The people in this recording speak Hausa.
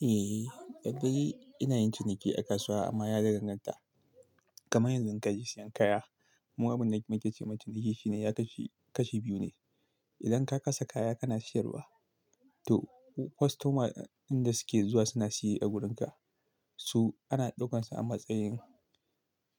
Eh, da kwai ina yin ciniki a kasuwa amma ya da danganta. Kaman yanzu ka je siyan kaya. Mu abin da muke cewa ciniki shi ne ya kasu kashi biyu ne. Idan ka kasa kaya kana siyarwa to customer ɗin da suke zuwa suna siye a wurinka. Su ana ɗaukansa a matsayin